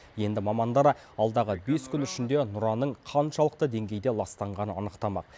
енді мамандар алдағы бес күн ішінде нұраның қаншалықты деңгейде ластанғанын анықтамақ